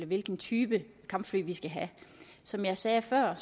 hvilken type kampfly vi skal have som jeg sagde før